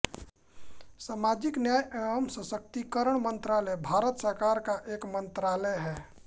सामाजिक न्याय एवं सशक्तिकरण मंत्रालय भारत सरकार भारत सरकार का एक मंत्रालय है